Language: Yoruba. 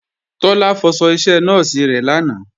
Tọ́lá fọṣọ iṣẹ nọ́ọ̀sì rẹ̀ lánàá